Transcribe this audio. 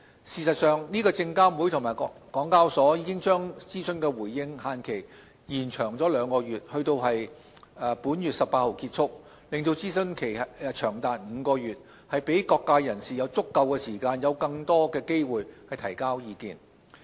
事實上，證監會及港交所已把諮詢的回應期限延長兩個月至本月18日結束，令諮詢期長達5個月，讓各界人士有足夠時間和更多機會提交意見。